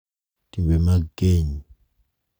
timbe mag keny